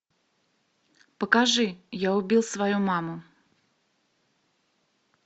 покажи я убил свою маму